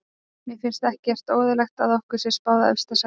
Mér finnst ekki óeðlilegt að okkur sé spáð efsta sæti.